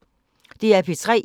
DR P3